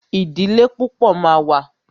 Ìdílé púpọ̀ ma wà.